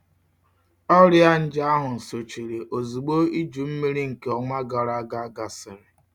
Ọrịa nje ahụ sochiri ozugbo iju mmiri nke ọnwa gara aga gasịrị.